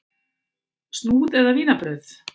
Snúð eða vínarbrauð?